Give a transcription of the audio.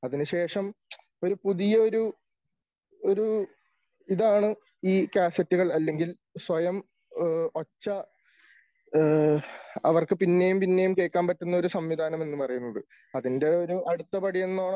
അതിനുശേഷം ഒരു പുതിയ ഒരു ഒരു ഇതാണ് ഈ കാസെറ്റ്കൾ അല്ലെങ്കിൽ സ്വയം ഒച്ച അവർക്ക് പിന്നെയും പിന്നെയും കേൾക്കാൻ പറ്റുന്ന ഒരു സംവിധാനം എന്ന് പറയുന്നത്. അതിന്റെ ഒരു അടുത്തപടി എന്നോണം